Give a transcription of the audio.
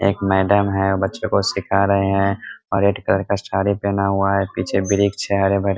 एक मैडम है | उ बच्चे को सीखा रहे हैं रेड कलर का साड़ी पहना हुआ है पीछे वृक्ष है हरे भरे |